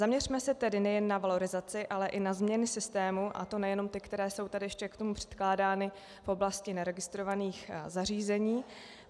Zaměřme se tedy nejen na valorizaci, ale i na změny systému, a to nejenom ty, které jsou tady ještě k tomu předkládány v oblasti neregistrovaných zařízení.